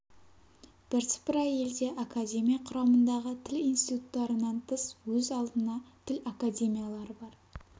бірсыпыра елде академия құрамындағы тіл институттарынан тыс өз алдына тіл академиялары бар